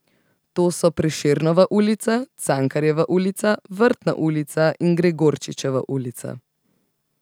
To so Prešernova ulica, Cankarjeva ulica, Vrtna ulica in Gregorčičeva ulica.